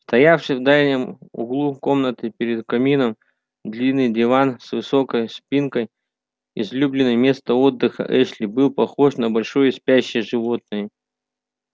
стоявший в дальнем углу комнаты перед камином длинный диван с высокой спинкой излюбленное место отдыха эшли был похож на большое спящее животное